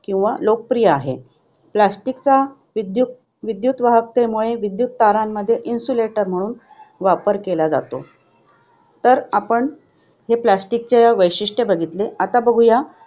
किंवा लोकप्रिय आहे. Plastic चा विद्युत विद्युतवाहकतेमुळे विद्युत तारामध्ये insulator म्हणून वापर केला जातो. तर आपण plastic चे हे वैशिष्ट्य बघितले आता बघूया.